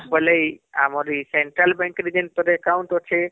ବୋଲେ ଏ ଆମର ଏ central bank ରେ ଯଉଁ ତୋର account ଅଛେ